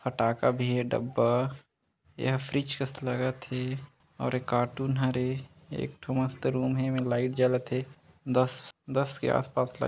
फटाखा भी हे डब्बा यह फ्रिज कस लगथ हे और एक कार्टून हे रे एकठो मस्त रूम हे इमे लाइट जलत हे दस-दस के आसपास --